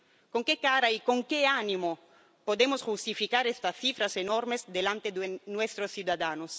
¿Con qué cara y con qué ánimo podemos justificar estas cifras enormes ante nuestros ciudadanos?